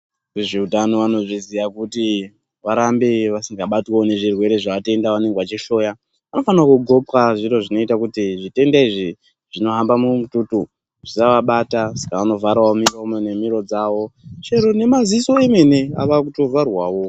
Vezveutano vanozviziya kuti Avarambewo vasingabatwi nezvirwere zveatenda vaanenge vachihloya vanofanira wo kundxoka zviro zvinoita kuti zvitenda izvi zvinohamba mumututu zvisavabata saka vava kuvhara miro ne muromo wavo chero ne maziso ava kutovharwawo.